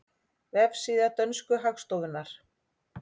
Vefsíða dönsku hagstofunnar